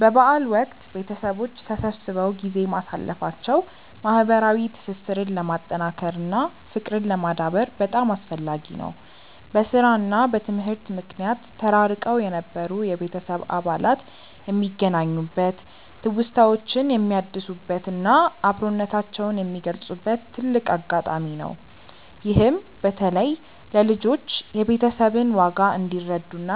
በበዓል ወቅት ቤተሰቦች ተሰብስበው ጊዜ ማሳለፋቸው ማህበራዊ ትስስርን ለማጠናከር እና ፍቅርን ለማዳበር በጣም አስፈላጊ ነው። በስራ እና በትምህርት ምክንያት ተራርቀው የነበሩ የቤተሰብ አባላት የሚገናኙበት፣ ትውስታዎችን የሚያድሱበት እና አብሮነታቸውን የሚገልጹበት ትልቅ አጋጣሚ ነው። ይህም በተለይ ለልጆች የቤተሰብን ዋጋ እንዲረዱ እና